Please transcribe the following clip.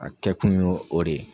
A kɛkun ye o de ye.